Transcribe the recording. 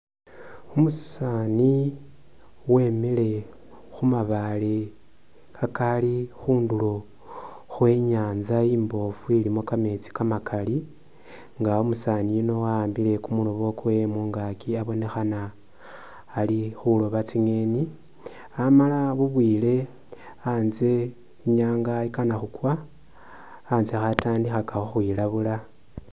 Umusaani wemile khu mabaale kakaali kbundulo khwe'nyanza imboofu ilimo kameetsi kamakali nga umusaani yuno wa'ambile kumuloobo kwewe mungaaki abonekhana ali khulooba tsingeni, amala bubwile anze inyaanga ikana khukwa ,anze khatandikhaka khu khwilabula